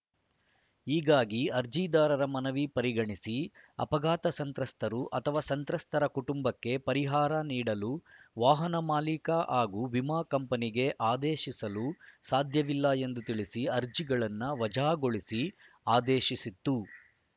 ಹೀಗಾಗಿ ಅರ್ಜಿದಾರರ ಮನವಿ ಪರಿಗಣಿಸಿ ಅಪಘಾತ ಸಂತ್ರಸ್ತರು ಅಥವಾ ಸಂತ್ರಸ್ತರ ಕುಟುಂಬಕ್ಕೆ ಪರಿಹಾರ ನೀಡಲು ವಾಹನ ಮಾಲೀಕ ಹಾಗೂ ವಿಮಾ ಕಂಪನಿಗೆ ಆದೇಶಿಸಲು ಸಾಧ್ಯವಿಲ್ಲ ಎಂದು ತಿಳಿಸಿ ಅರ್ಜಿಗಳನ್ನು ವಜಾಗೊಳಿಸಿ ಆದೇಶಿಸಿತ್ತು